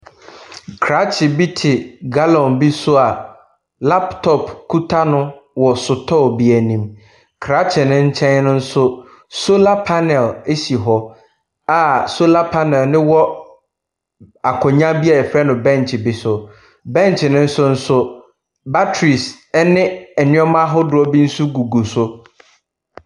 Krakye bi te gallon bi so a laptop kuta no wɔ sotɔɔ bi anim. Krakye no nkyɛn no nso, solar panel si hɔ., a solar panel no wɔ akonnwa bi a wɔfrɛ no Bench no so. Bench no so nso, batteries ne nneɛma ahodoɔ bi nso gugu so.